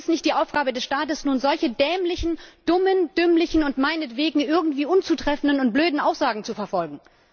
Es ist nicht die Aufgabe des Staates, solche dämlichen, dummen, dümmlichen und meinetwegen irgendwie unzutreffenden und blöden Aussagen zu verfolgen.